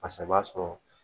Fasa i b'a sɔrɔ